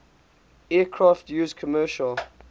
aircraft used commercial